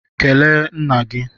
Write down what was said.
Kelee nna gị!